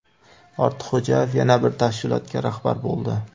Ortiqxo‘jayev yana bir tashkilotga rahbar bo‘ldi.